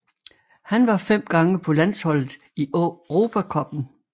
Han var fem gange på landsholdet i Europa cupen